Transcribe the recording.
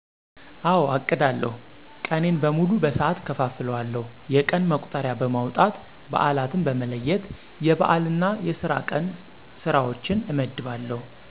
አወ አቅዳለሁ። ቀኔን በሙሉ በሠዓት እከፋፍለዋለሁ። የቀን መቁጠሪያ በማውጣት በአላትን በመለየት የበአል እና የስራ ቀን ስራዎችን እመድባለሁ።